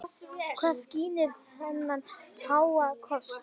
Hvað skýrir þennan háa kostnað?